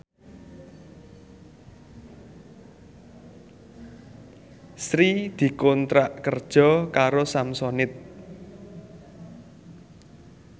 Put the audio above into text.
Sri dikontrak kerja karo Samsonite